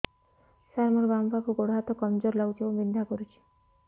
ସାର ମୋର ବାମ ପାଖ ଗୋଡ ହାତ କମଜୁର ଲାଗୁଛି ଏବଂ ବିନ୍ଧା କରୁଛି